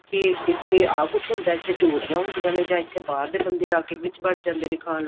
ਵੀ ਇੱਥੇ ਆਹ ਕੁੱਝ ਹੁੰਦਾ ਇੱਥੇ ਆਹ ਕੁੱਝ ਹੁੰਦਾ ਹੈ ਇੱਥੇ ਚੋਰੀਆਂ ਹੁੰਦੀਆਂ ਨੇ ਇੱਥੇ ਬਾਹਰਲੇ ਬੰਦੇ ਆਕੇ ਵਿੱਚ ਵੜ ਜਾਂਦੇ ਨੇ ਖਾਨ ਨੂੰ